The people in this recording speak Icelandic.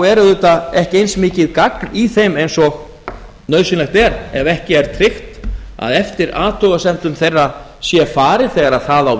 er auðvitað ekki eins mikið gagn í þeim eins og nauðsynlegt er ef ekki er tryggt að eftir athugasemdum þeirra sé farið þegar það á